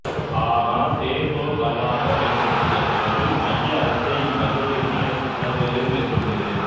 ஆனால் தே தொ கவாக மேம்படுத்திய பிறகு மைய அரசே இக்கல்லூரிகளின் அனைத்து செலவுகளையும் மேற்கொள்கிறது